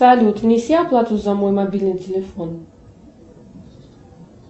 салют внеси оплату за мой мобильный телефон